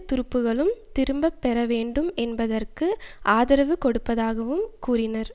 துருப்புக்களும் திரும்ப பெற வேண்டும் என்பதற்கு ஆதரவு கொடுப்பதாகவும் கூறினர்